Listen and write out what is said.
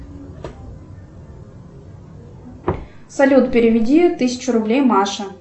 салют переведи тысячу рублей маша